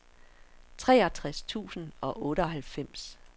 treogtres tusind og otteoghalvfems